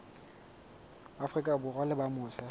afrika borwa ba leng mose